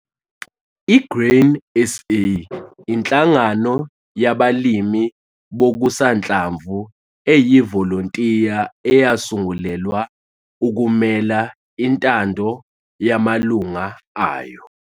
I-Grain SA inhlangano yabalimi bokusanhlamvu eyivolontiya eyasungulelwa ukumela intando yamalungu ayo.